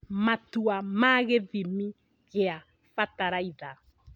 Matua ma gĩthimi gĩa bataraitha